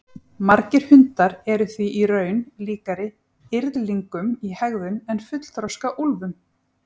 Margir hundar eru því í raun líkari yrðlingum í hegðun en fullþroska úlfum.